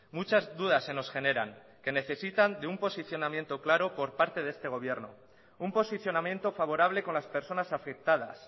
muchas dudas se nos generan que necesitan de un posicionamiento claro por parte de este gobierno un posicionamiento favorable con las personas afectadas